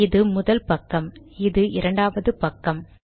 இது முதல் பக்கம் இது இரண்டாவது பக்கம்